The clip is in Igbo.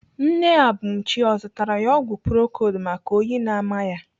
Nne Abumchi ọ zụtara ya ọgwụ procold maka oyi na-ama ya?